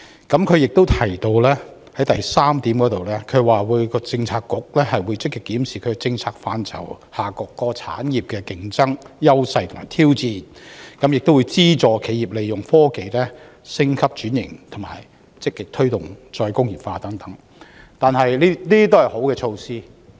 局長亦於第三部分提到，各政策局會積極檢視其政策範疇下各產業的競爭優勢及挑戰，資助企業利用科技升級轉型，以及積極推動"再工業化"等，這些都是好的措施。